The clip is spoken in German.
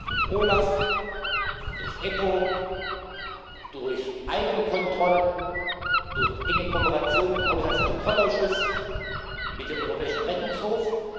durch OLAF, durch EPPO, durch eigene Kontrollen, durch enge Kooperation mit dem Haushaltskontrollausschuss und mit dem Europäischen Rechnungshof.